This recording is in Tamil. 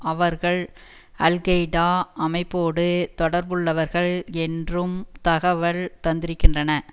அவர்கள் அல்கெய்டா அமைப்போடு தொடர்புள்ளவர்கள் என்றும் தகவல் தந்திருக்கின்றன